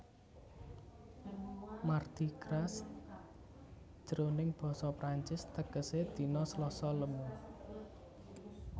Mardi Gras jroning basa Prancis tegesé dina Slasa lemu